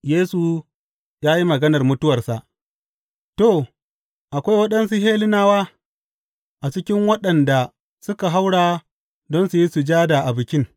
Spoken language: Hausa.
Yesu ya yi maganar mutuwarsa To, akwai waɗansu Hellenawa a cikin waɗanda suka haura don su yi sujada a Bikin.